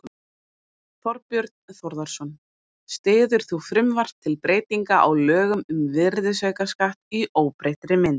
Þorbjörn Þórðarson: Styður þú frumvarp til breytinga á lögum um virðisaukaskatt í óbreyttri mynd?